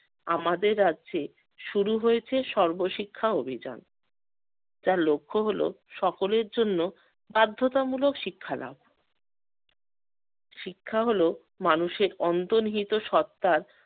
আমাদের রাজ্যে শুরু হয়েছে সর্বশিক্ষা অভিযান। যার লক্ষ্য হলো সকলের জন্য বাধ্যতামূলক শিক্ষা নেওয়া শিক্ষা হল মানুষের অন্তর্নিহিত সত্তার